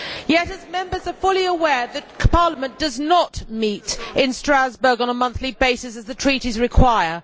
Yet its members are fully aware that Parliament does not meet in Strasbourg on a monthly basis as the Treaties require.